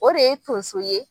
O de ye tonso ye